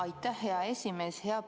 Aitäh, hea esimees!